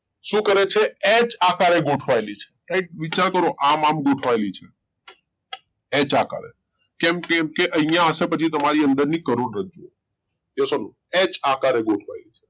શું કરે છે એચ આકારે ગોઠવાયેલી છે વિચાર કરો આમ આમ ગોઠવાયેલી છે એચ આકારે છે કેમ? કેમ કે અઇયા હશે પછી તમારી અંદર ની કરોડરજ્જુ Yes or No એચ આકારે ગોઠવાયેલી છે